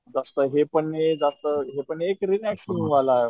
जास्त हे नाही जास्त हे पण नाही एक रिलॅक्सींग वाला